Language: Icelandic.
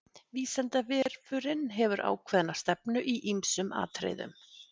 Vísindavefurinn hefur ákveðna stefnu í ýmsum atriðum.